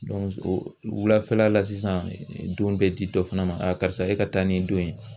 wulafɛla la sisan don bɛ di dɔ fana ma karisa e ka taa nin don ye.